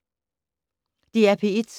DR P1